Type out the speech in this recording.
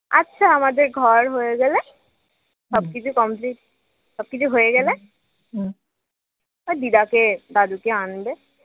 আচ্ছা আমাদের ঘর হয়ে গেলে সবকিছু কমপ্লিট সবকিছু হয়ে গেলে দিদাকে দাদুকে আনবে